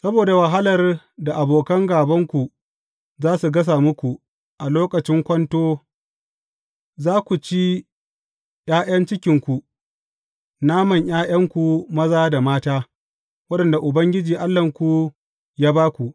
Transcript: Saboda wahalar da abokan gābanku za su gasa muku a lokacin kwanto, za ku ci ’ya’yan cikinku, naman ’ya’yanku maza da mata waɗanda Ubangiji Allahnku ya ba ku.